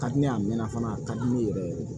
Ka di ne ye a mɛnna fana a ka di ne yɛrɛ ye